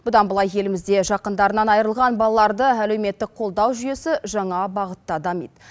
бұдан былай елімізде жақындарынан айырылған балаларды әлеуметтік қолдау жүйесі жаңа бағытта дамиды